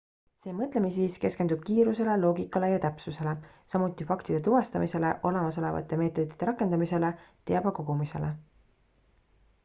see mõtlemisviis keskendub kiirusele loogikale ja täpsusele samuti faktide tuvastamisele olemasolevate meetodite rakendamisele teabe kogumisele